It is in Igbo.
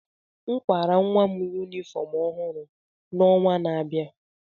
m akwara nwa m yunifọm akwụkwọ ọhụrụ n'ọnwa na-abịa